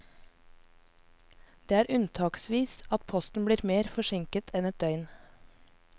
Det er unntaksvis at posten blir mer forsinket enn ett døgn.